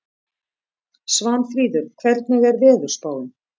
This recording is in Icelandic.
Svanfríður, hvernig er veðurspáin?